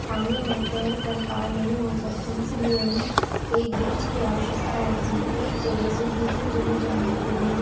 पानी में तैर कर पार नहीं हो सकती इसलिए उन्हें एक ब्रिज की आवश्यकता होती हैएक जगह से दूसरी जगह पर जाने के लिए।